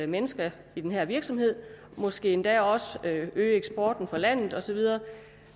mennesker i den her virksomhed måske endda også øge eksporten for landet og så videre